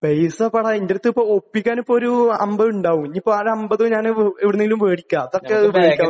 പൈസ ഇപ്പം ഡാ എന്റടുത്ത് ഇപ്പൊ ഒപ്പിക്കാൻ ഇപ്പൊ ഒരു 50 ഉണ്ടാവും.ഇനിയിപ്പോ ഒരു അമ്പത് എവിടുന്നേലും വേടിക്കാം..